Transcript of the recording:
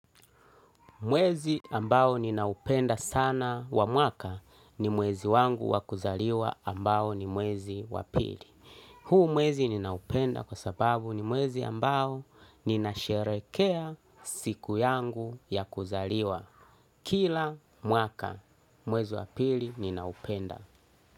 Mwezi ambao ninaupenda sana wa mwaka ni mwezi wangu wakuzaliwa ambao ni mwezi wapili. Huu mwezi ninaupenda kwa sababu ni mwezi ambao nina sherekea siku yangu ya kuzaliwa. Kila mwaka mwezi wapili ninaupenda.